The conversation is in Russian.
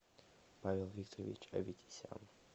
павел викторович аветисян